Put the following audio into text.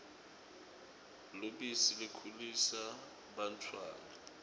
lubisi likhulisa bantfwana